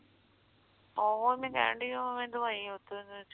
ਓਹੋ ਮੈਂ ਲੈਣ ਡੀ ਦਵਾਈ ਉਸ ਚੋ